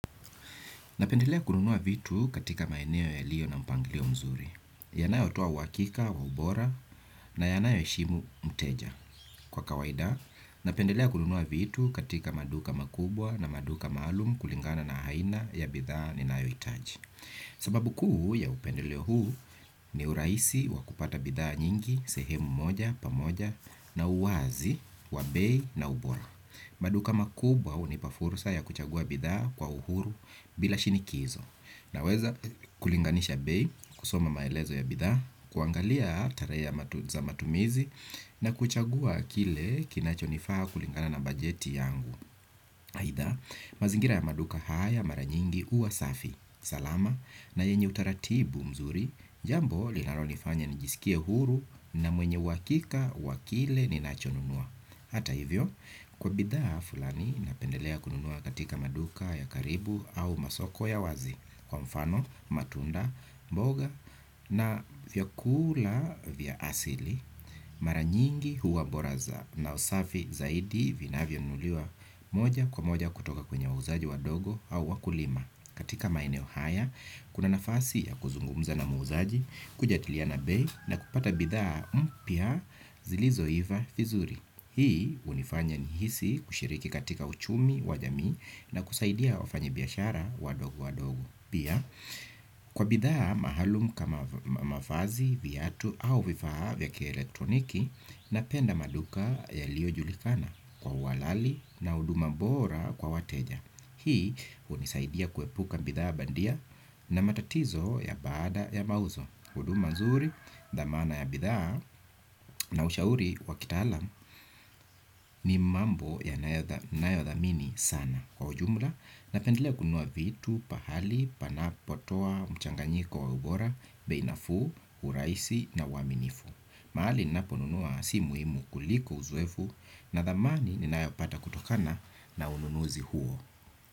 Napendelea kununua vitu katika maeneo yaliyo na mpanglio mzuri. Yanayotoa huhakika wa ubora na yanayo heshimu mteja. Kwa kawaida, napendelea kununua vitu katika maduka makubwa na maduka maalum kulingana na aina ya bidhaa ninayohitaji. Sababu kuu ya upendeleo huu ni urahisi wa kupata bidhaa nyingi, sehemu moja, pamoja na uwazi, wa bei na ubora. Maduka makubwa hunipa fursa ya kuchagua bidhaa kwa uhuru bila shinikizo. Naweza kulinganisha bei kusoma maelezo ya bidhaa. Kuangalia tarehe za matumizi na kuchagua kile kinachonifaa kulingana na bajeti yangu aidha, mazingira ya maduka haya mara nyingi huwa safi salama na yenye utaratibu mzuri. Jambo linalonifanya nijisikie huru na mwenye uhakika wa kile ninachonunua. Hata hivyo, kwa bidhaa fulani napendelea kununua katika maduka ya karibu au masoko ya wazi kwa mfano, matunda, mboga na vyakula vya asili mara nyingi huwa bora na safi zaidi vinavyanunuliwa moja kwa moja kutoka kwenye wauzaji wadogo au wakulima. Katika maeneo haya, kuna nafasi ya kuzungumza na muuzaji, kujadiliana bei na kupata bidhaa mpya zilizoiva vizuri. Hii hunifanya nihisi kushiriki katika uchumi, wa jamii na kusaidia wafanyibiashara wadogo wadogo. Pia, kwa bidhaa maalum kama mavazi, viatu au vifaa vya kielektroniki napenda maduka yaliojulikana kwa uhalali na huduma bora kwa wateja. Hii hunisaidia kuepuka bidhaa bandia na matatizo ya baada ya mauzo huduma nzuri, dhamana ya bidhaa na ushauri wa kitaalam ni mambo ninayodhamini sana. Kwa ujumla, napendelea kununua vitu, pahali, panapotoa, mchanganyiko wa ubora, bei nafuu, urahisi na uaminifu. Mahali ninaponunua si muhimu kuliko uzoefu na dhamani ninayopata kutokana na ununuzi huo.